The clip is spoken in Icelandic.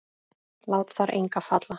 Lát þar enga falla.